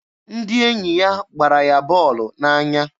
Ndị enyi ya gbara ya bọọlụ n'anya.